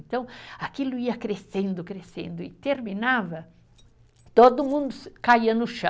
Então aquilo ia crescendo, crescendo e terminava, todo mundo se, caía no chão.